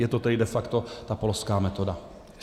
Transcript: Je to tedy de facto ta polská metoda.